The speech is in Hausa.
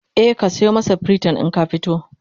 e ka sayo masa priton in ka fita